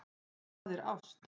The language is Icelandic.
Hvað er ást?